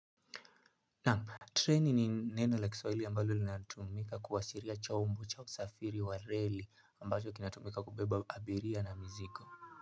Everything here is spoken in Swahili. Treni ni neno la kiswahili ambalo linatumika kuwashiria chombo cha usafiri wa reli ambacho kinatumika kubeba abiria na miziko.